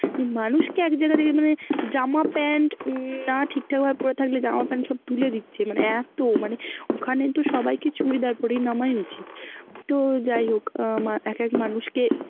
মানুষকে এক জায়গা থেকে মানে জামা pant না ঠিক ঠাক ভাবে পরে থাকলে জামা pant সব তুলে দিচ্ছে মানে এত, মানে ওখানে কিন্তু সবাইকে চুরিদার পরেই নামাই উচিত, তো যাই হোক আহ এক এক মানুষকে